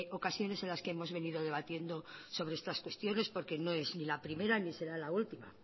ocasiones en las que hemos venido debatiendo sobre estas cuestiones porque no es ni la primera ni será la última